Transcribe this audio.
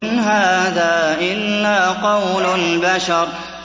إِنْ هَٰذَا إِلَّا قَوْلُ الْبَشَرِ